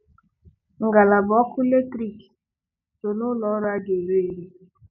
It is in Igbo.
Ngalaba ọkụ latrik so n'ụlọọrụ a ga-ere ere.